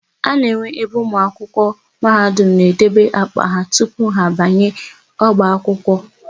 A na-enwe ebe ụmụakwụkwọ Mahadum na-edebe àkpà ha tupu ha abanye ọba akwụkwọ.